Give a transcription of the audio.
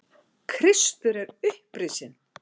Kristur er upprisinn.